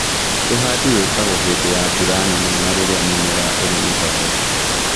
Ũhandi wikagwo hindĩ ya mbura nene na rĩrĩa mĩmera ĩrĩ mĩhoreru